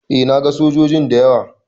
Eh na gan sojoji da yawa.